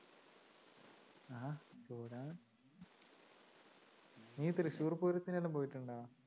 നീ തൃശൂർ പൂരത്തിനെല്ലാം പോയിട്ടുണ്ടോ?